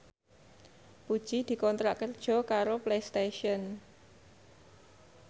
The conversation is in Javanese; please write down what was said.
Puji dikontrak kerja karo Playstation